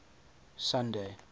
sunday